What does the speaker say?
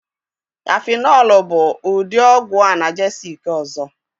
Safịnọlụ bụ ụdị ọgwụ anagesịc ọzọ.